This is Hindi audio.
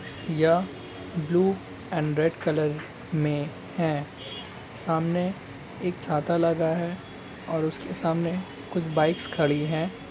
या ब्लू एंड रेड कलर में है सामने एक छाता लगा है और उसके सामने कुछ बाइक्स खड़ी हैं।